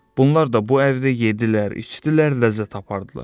Bunlar da bu əvdə yeddilər, içdilər, ləzzət apardılar.